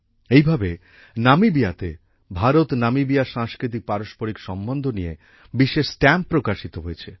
এইভাবে নামিবিয়াতে ভারতনামিবিয়ার সাংস্কৃতিকপারম্পরিক সম্বন্ধ নিয়ে বিশেষ স্ট্যাম্প প্রকাশিত হয়েছে